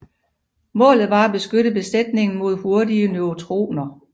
Målet var at beskytte besætningen mod hurtige neutroner